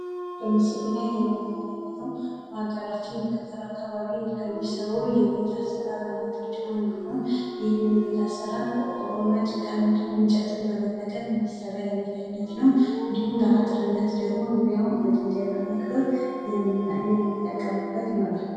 ምስሉ ላይ የምንመለከተው በሀገራችን በገጠሩ አካባቢ ከሚሰሩ ቤቶች መካከል አንዱ ነው ።እሄ ቤት አሰራር ቆርቆሮ ፣ጭቃና እንጨትን በመጠቀም የሚሰራ ነው ።እንዲሁም ለአጥር ዙሪያውን በድንጋይ በመክበብ የሚጠቀሙበት ይሆናል።